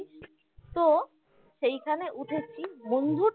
তো সেইখানে উঠেছি বন্ধুর